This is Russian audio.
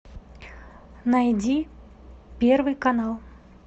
найди первый канал